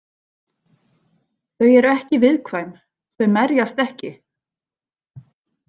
Þau eru ekki viðkvæm, þau merjast ekki.